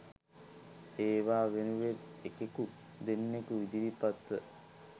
ඒවා වෙනුවෙන් එකෙකු දෙන්නෙකු ඉදිරිපත් ව